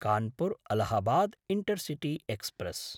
Kanpur-Allahabad intercity express